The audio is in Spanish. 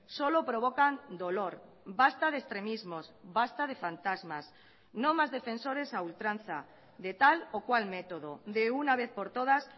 solo provocan dolor basta de extremismos basta de fantasmas no más defensores a ultranza de tal o cual método de una vez por todas